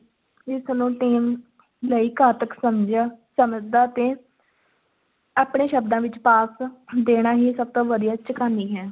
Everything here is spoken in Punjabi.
ਇਸ ਨੂੰ team ਲਈ ਘਾਤਕ ਸਮਝਿਆ ਸਮਝਦਾ ਤੇ ਆਪਣੇ ਸ਼ਬਦਾਂ ਵਿੱਚ ਪਾਸ ਦੇਣਾ ਹੀ ਸਭ ਤੋਂ ਵਧੀਆ ਝਕਾਨੀ ਹੈ।